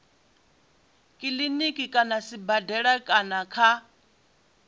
kiliniki kana sibadela kana kha